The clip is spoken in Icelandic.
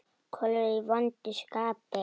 Kolur er í vondu skapi.